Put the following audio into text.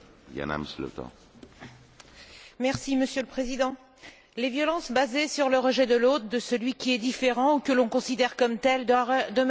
Monsieur le Président, les violences basées sur le rejet de l'autre, de celui qui est différent ou que l'on considère comme tel, demeurent une réalité quotidienne dans l'Union européenne.